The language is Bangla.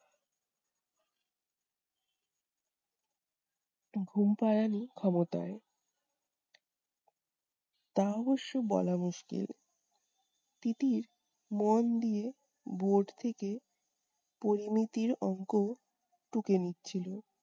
ঘুম পাড়ানি ক্ষমতায়, তা অবশ্য বলা মুশকিল। তিতির মন দিয়ে board থেকে পরিমিতির অংক টুকে নিচ্ছিল।